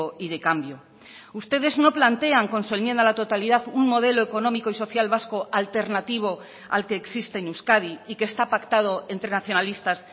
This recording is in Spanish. y de cambio ustedes no plantean con su enmienda a la totalidad un modelo económico y social vasco alternativo al que existe en euskadi y que está pactado entre nacionalistas